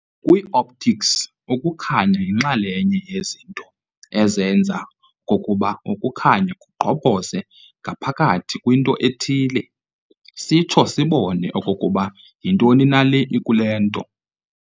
Kwi-optics, ukukhanya yinxalenye yezinto aezenza okokuba ukukhanya kugqobhoze ngaphakathi kwinto ethile, sitsho sibone okokuba yintoni na le ikule nto.